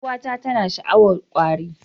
Yar'uwata tana sha'awar kwari